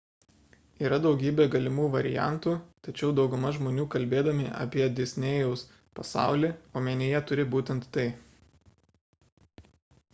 yra daugybė galimų variantų tačiau dauguma žmonių kalbėdami apie disnėjaus pasaulį omenyje turi būtent tai